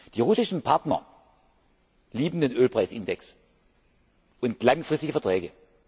Die russischen Partner lieben den Ölpreisindex und langfristige Verträge.